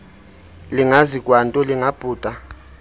lingazi kwanto lingabhuda